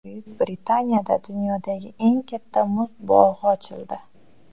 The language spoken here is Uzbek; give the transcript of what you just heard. Buyuk Britaniyada dunyodagi eng katta muz bog‘i ochildi .